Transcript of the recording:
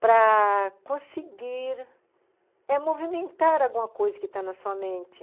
para conseguir movimentar alguma coisa que está na sua mente.